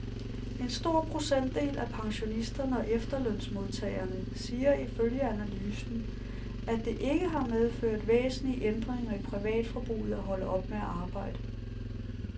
En stor procentdel af pensionisterne og efterlønsmodtagerne siger ifølge analysen, at det ikke har medført væsentlige ændringer i privatforbruget at holde op med at arbejde.